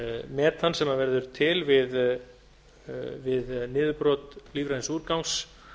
metan sem verður til við niðurbrot lífræns úrgangs